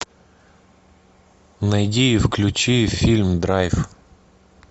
найди и включи фильм драйв